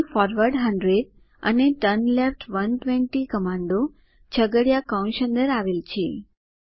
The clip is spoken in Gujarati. અહીં ફોરવર્ડ 100 અને ટર્નલેફ્ટ 120 કમાન્ડો છગડીયા કૌંસ અંદર આવેલ છે